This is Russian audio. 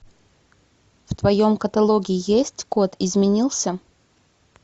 в твоем каталоге есть код изменился